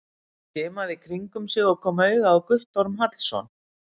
Hann skimaði í kringum sig og kom auga á Guttorm Hallsson.